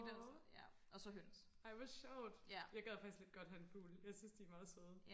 nåå ej hvor sjovt jeg gad faktisk lidt godt have en fugl jeg synes de er meget søde